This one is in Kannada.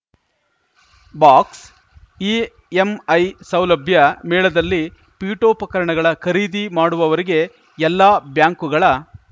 ಬಾಕ್ಸ್‌ಇಎಂಐ ಸೌಲಭ್ಯ ಮೇಳದಲ್ಲಿ ಪೀಠೋಪಕರಣಗಳ ಖರೀದಿ ಮಾಡುವವವರಿಗೆ ಎಲ್ಲ ಬ್ಯಾಂಕ್‌ಗಳ